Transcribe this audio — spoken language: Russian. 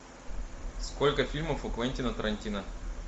сколько фильмов у квентина тарантино